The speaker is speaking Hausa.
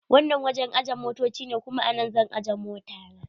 Wannan wajen ajiye motoci ne, kuma a nan zan ajje mota na.